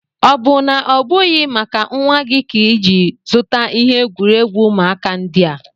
O bu na obughị maka nwa gị ka iji zuta ihe egwuregwu ụmụaka ndị a?